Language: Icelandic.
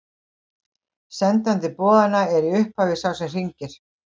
Sendandi boðanna er í upphafi sá sem hringir.